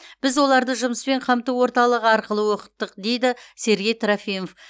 біз оларды жұмыспен қамту орталығы арқылы оқыттық дейді сергей трофимов